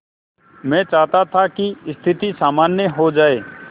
मैं चाहता था कि स्थिति सामान्य हो जाए